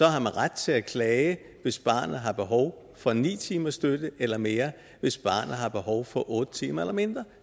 ret til at klage hvis barnet har behov for ni timers støtte eller mere hvis barnet har behov for otte timer eller mindre